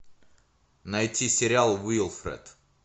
найти сериал уилфред